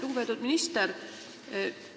Lugupeetud minister!